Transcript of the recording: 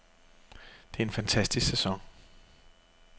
Det er en fantastisk sæson.